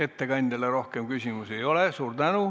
Ettekandjale rohkem küsimusi ei ole.